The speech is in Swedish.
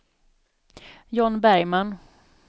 John Bergman